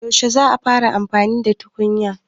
Yaushe za a fara amfani da tukunyar